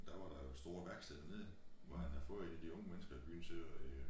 Der var der jo store værksteder dernede hvor han havde fået en af de unge mennesker i byen til øh